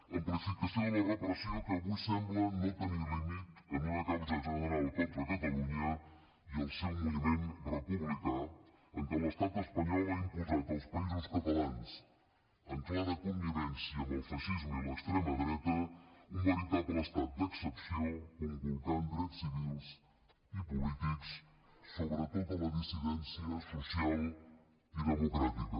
amplificació de la repressió que avui sembla no tenir límit en un causa general contra catalunya i el seu moviment republicà en què l’estat espanyol ha imposat als països catalans en clara connivència amb el feixisme i l’extrema dreta un veritable estat d’excepció conculcant drets civils i polítics sobre tota la dissidència social i democràtica